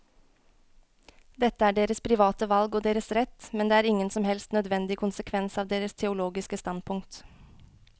Dette er deres private valg og deres rett, men det er ingen som helst nødvendig konsekvens av deres teologiske standpunkt.